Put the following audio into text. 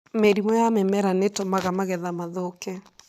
Mĩrimũ ya mĩmera nĩ ĩtũmaga magetha mathũkie.